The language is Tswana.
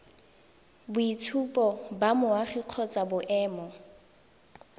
boitshupo ba boagi kgotsa boemo